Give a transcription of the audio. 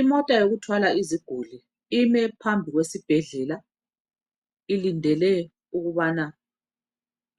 Imota yokuthwala iziguli ime phambili kwesibhedlela ilindele ukubana